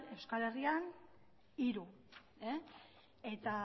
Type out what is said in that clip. euskal herria hiru eta